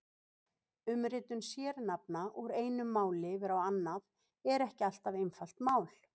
Umritun sérnafna úr einu máli yfir á annað er ekki alltaf einfalt mál.